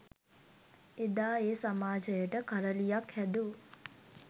එදා ඒ සමාජයට කරළියක් හැදූ